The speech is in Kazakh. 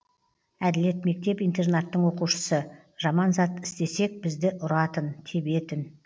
әділет мектеп интернаттың оқушысы жаман зат істесек бізді ұратын тебетін